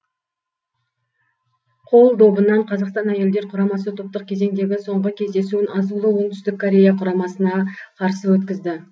қол добынан қазақстан әйелдер құрамасы топтық кезеңдегі соңғы кездесуін азулы оңтүстік корея құрамасына қарсы өткізді